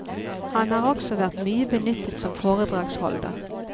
Han har også vært mye benyttet som foredragsholder.